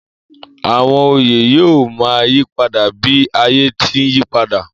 Àwọn oyè yóò ma yípadà bí ayé ti ń yípadà